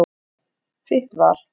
Þitt val.